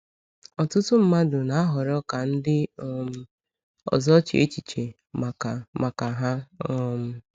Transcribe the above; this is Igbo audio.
Ọtụtụ mmadụ na-ahọrọ ka ndị um ọzọ chee echiche maka maka ha. um